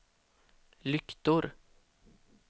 lyktor